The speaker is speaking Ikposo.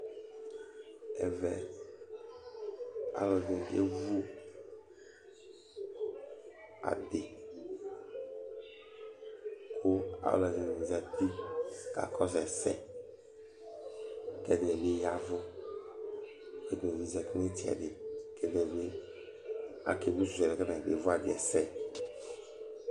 Ɛvɛ alu ɛdɩnɩ akevu adi, kʋ alu ɛdɩnɩ zǝti kakɔsʋ ɛsɛ, kʋ ɛdɩnɩ bɩ ya ɛvʋ, kʋ ɛdɩnɩ bɩ zǝti nʋ ɩtsɛdɩ, kʋ ɛdɩnɩ bɩ akewishɩ alɛna yɛ kʋ atani kevu adi yɛ sɛ